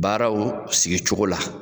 Baaraw sigi cogo la